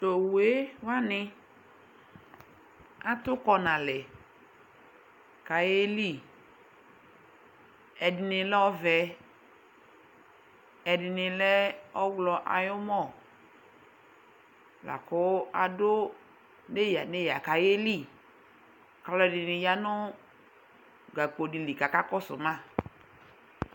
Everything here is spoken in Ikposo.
Tʋ owu yɛ wanɩ atʋ kɔ nʋ alɛ kʋ ayeli Ɛdɩnɩ lɛ ɔvɛ, ɛdɩnɩ lɛ ɔɣlɔ ayʋ ʋmɔ la kʋ adʋ neyǝ-neyǝ kʋ ayeli Alʋɛdɩnɩ ya nʋ gakpo dɩ li kʋ akakɔsʋ ma